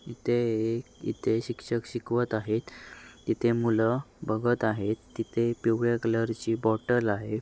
इथे एक इथे शिक्षक शिकवत आहे तिथे मुल बघत आहेत तिथे पिवळ्या कलर ची बॉटल आहे.